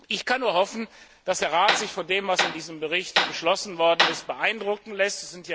Ich kann nur hoffen, dass sich der Rat von dem, was in diesem Bericht beschlossen worden ist, beeindrucken lässt.